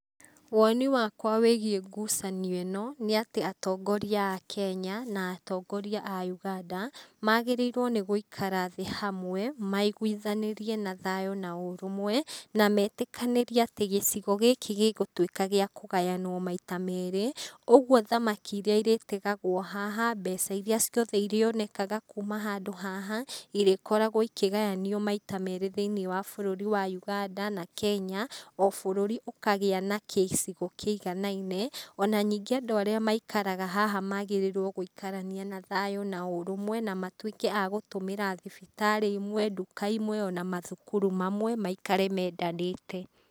Woni wakwa wĩgiĩ ngucanio ĩno, nĩ atĩ atongoria a Kenya na atongoria a Uganda magĩrĩirwo nĩ gũikara thĩ hamwe maiguithanĩrie na thayũ na ũrũmwe, na metĩkanĩrie atĩ gĩcigo gĩkĩ gĩgũtuĩka gĩa kũgayanwo maita merĩ. Ũguo thamaki irĩa ĩrĩtegagwo haha, mbeca irĩa ciothe irĩonekaga kuma handũ haha irĩkoragwo ikĩgayanagio maita merĩ thĩiniĩ wa bũrũri wa Uganda na Kenya. O bũrũri ũkagĩa na gĩcigo kĩiganaine. Ona ningĩ andũ arĩa maikaraga haha magĩrĩirwo gũikarania na thayũ na ũrũmwe na matuĩke a gũtũmĩra thibitarĩ imwe, nduka imwe ona mathukuru mamwe maikare mendanĩte.